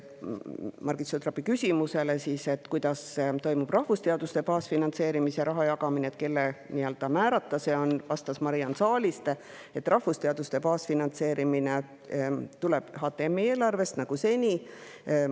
Margit Sutropi küsimusele, kuidas toimub rahvusteaduste baasfinantseerimise raha jagamine, kelle määrata see on, vastas Mariann Saaliste, et rahvusteaduste baasfinantseerimine tuleb HTM-i eelarvest nagu seni.